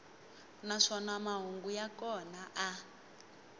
naswona mahungu ya kona a